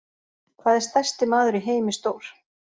Hvað er stærsti maður í heimi stór?